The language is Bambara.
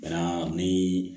Bana ni